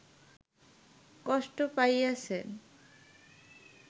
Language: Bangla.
কষ্ট পাইয়াছে